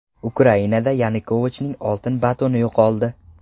Ukrainada Yanukovichning oltin batoni yo‘qoldi.